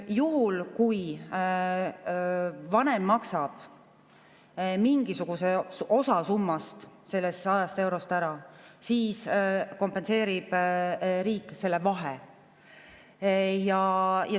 Juhul, kui vanem maksab mingisuguse osa summast ehk sellest 100 eurost ära, siis kompenseerib riik selle vahe.